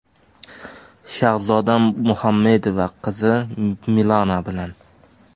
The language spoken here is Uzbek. Shahzoda Muhammedova qizi Milana bilan.